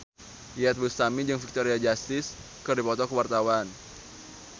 Iyeth Bustami jeung Victoria Justice keur dipoto ku wartawan